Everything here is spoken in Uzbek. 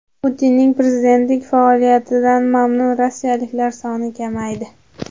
Putinning prezidentlik faoliyatidan mamnun rossiyaliklar soni kamaydi.